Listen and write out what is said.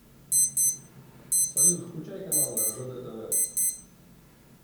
салют включай каналы ржд тв